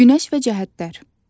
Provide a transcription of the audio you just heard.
Günəş və cəhətlər.